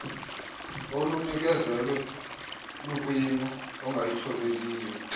olunikezelwe lukwimo engayithobeliyo